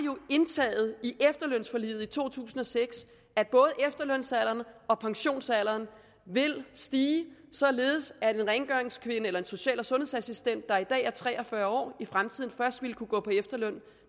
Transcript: at i efterlønsforliget i to tusind og seks at både efterlønsalderen og pensionsalderen vil stige således at en rengøringskvinde eller en social og sundhedsassistent der i dag er tre og fyrre år i fremtiden først vil kunne gå på efterløn